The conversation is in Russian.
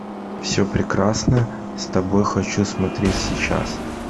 все прекрасно с тобой хочу смотреть сейчас